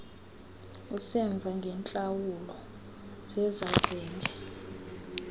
usemva ngeentlawulo zezavenge